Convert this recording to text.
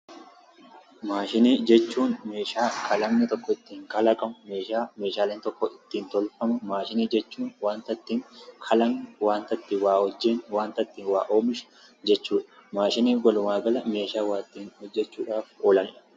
Maashinoota jechuun meeeshaa kalaqni tokko ittiin kalaqamu jechuudha. Akkasumas waanta ittiin waa hojjennu yookin dalagnu jechuudha.